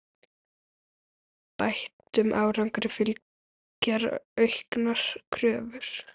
Bættum árangri fylgja auknar kröfur.